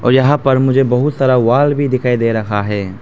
और यहां पर मुझे बहुत सारा वॉल भी दिखाई दे रहा है।